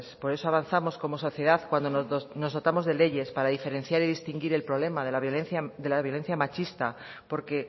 por eso avanzamos como sociedad cuando nos dotamos de leyes para diferenciar y distinguir el problema de la violencia machista porque